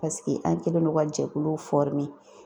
Paseke an kɛlen don ka jɛkulu